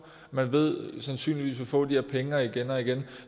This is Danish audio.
man ved sandsynligvis vil få de her penge igen og igen